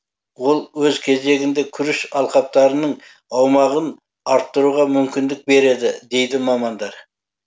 ол өз кезегінде күріш алқаптарының аумағын арттыруға мүмкіндік береді дейді мамандар